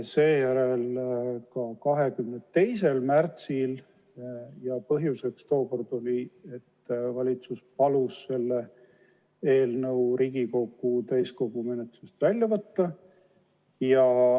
Seejärel käsitlesime seda 22. märtsil ja põhjus oli, et valitsus palus selle eelnõu Riigikogu täiskogu menetlusest välja võtta.